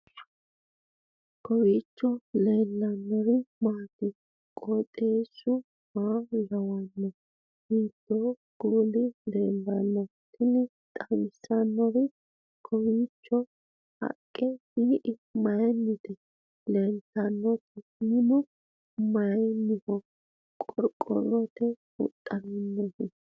kowiicho leellannori maati ? qooxeessu maa lawaanno ? hiitoo kuuli leellanno ? tini xawissannori kowiicho haqqe tii'i mayinnite lelltannoti minu mayiinniho qorqqorotenni huxxinoonnihu